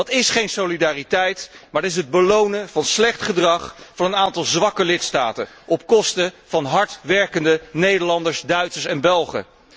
Dat is geen solidariteit, maar het belonen van het slecht gedrag van een aantal zwakke lidstaten op kosten van hardwerkende Nederlanders, Duitsers en Belgen.